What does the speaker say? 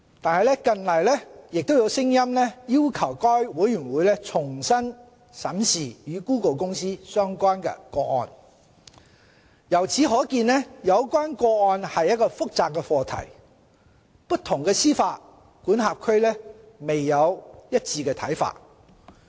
然而，近來亦有聲音要求該委員會重新審視與谷歌公司相關的個案。由此可見，有關個案是一個複雜的課題，不同的司法管轄區未有一致的看法。